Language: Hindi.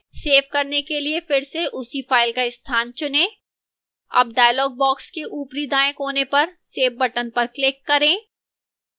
सेव करने के लिए फिर से उसी file का स्थान चुनें अब डायलॉग बॉक्स के ऊपरी दाएं कोने पर save बटन पर क्लिक करें